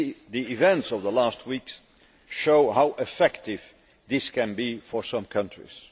The events of the last weeks show how effective this can be for some countries.